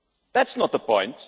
That's not the point.